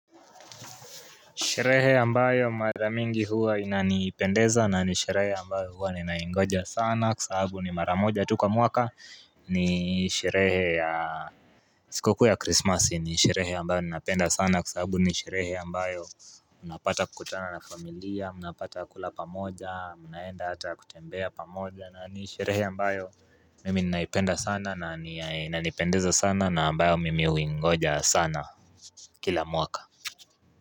Sherehe ambayo ya mara mingi huwa inanipendeza nani sherehe ambayo huwa ninaingoja sana kwa sababu ni mara moja tu kwa mwaka ni sherehe ya Sikukuu ya krisimasi ni sherehe ambayo ninapenda sana kwa sababu ni sherehe ambayo Unapata kukutana na familia, mnapata kula pamoja, mnaenda hata kutembea pamoja nani sherehe ambayo mimi ninaipenda sana na inanipendeza sana na ambayo mimi huingoja sana kila mwaka.